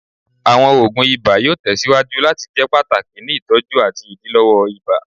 Awọn oogun iba yoo tẹsiwaju lati jẹ pataki ni itọju ati idilọwọ ibà